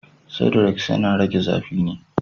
Sudrex yana rage zafi ne.